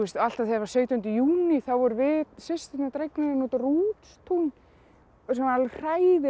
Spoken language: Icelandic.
alltaf þegar var sautjánda júní þá vorum við systurnar dregnar út á Rútstún sem var alveg hræðilega